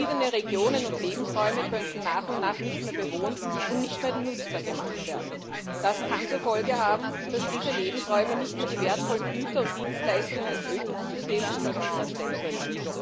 Verschiedene Regionen und Lebensräume könnten nach und nach nicht mehr bewohnt und nicht mehr nutzbar gemacht werden. Das kann zur Folge haben, dass diese Lebensräume nicht mehr die wertvollen Güter und Dienstleistungen des Ökosystems zur Verfügung stellen können.